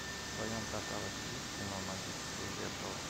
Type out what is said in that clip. в твоем каталоге есть кино магическое зеркало